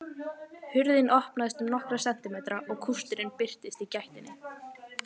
Hurðin opnaðist um nokkra sentimetra og kústurinn birtist í gættinni.